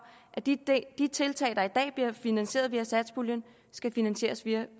at de de tiltag der i dag bliver finansieret via satspuljen skal finansieres via